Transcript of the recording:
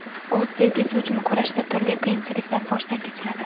O‘z sevgisi uchun kurashda turli qiyinchiliklar boshdan kechiradi.